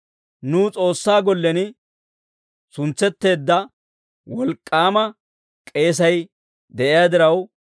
Nuw S'oossaa gollen suntsetteedda wolk'k'aama k'eesay de'iyaa diraw,